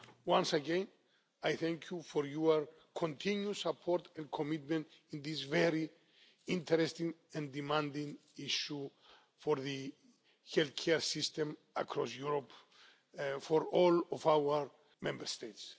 Once again, I thank you for your continued support and commitment in this very interesting and demanding issue for the healthcare system across Europe and for all of our Member States.